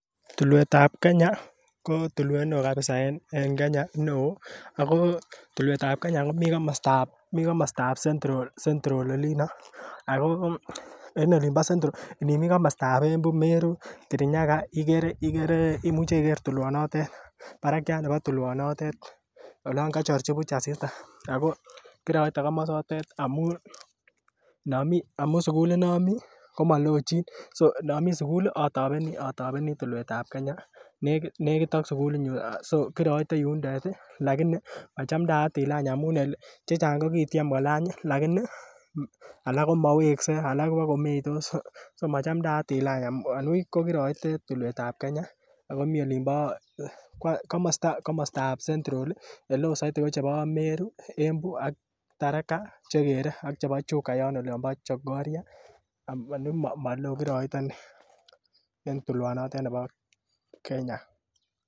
Tulwetab Kenya ko tulwet neo kabisa en Kenya neo ako tulwetab kenya komi komostab Central olino ako inimi komostab Embu, Meru, Kirinyaga inuche iger tulwanitet, barakyat nebo tulwanatet olong'kochorji buch asista, ako kiroite komosotet amun sugulit nomi komalojin so inomi sugul ii otobeni tulwetab Kenya negit ak sugulinyun so kiroite yotet ii lagiki machamdaat ilany amun chechang kokikotyem lagiki alak komoweksei bagomeitos ,so machamdaat elang anibuch ko kiroite tulwetab ab kenya ako mi olimbo komastab Central i,oleo saito ko chebo Meru, Embu ak Taraka chegere ak Chuka yon olombo Chokoria ani maloo kiroite inei en tulwanotet nebo Kenya.